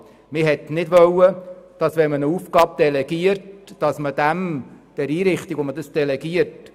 Man wollte nicht den Einrichtungen, an welche die Aufgaben delegiert werden, quasi die Instrumente entziehen.